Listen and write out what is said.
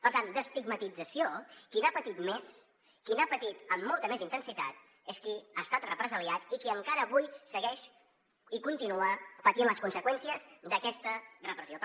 per tant d’estigmatització qui n’ha patit més qui n’ha patit amb molta més intensitat és qui ha estat represaliat i qui encara avui segueix i continua patint les conseqüències d’aquesta repressió